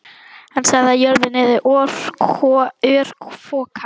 Hann sagði að jörðin yrði örfoka.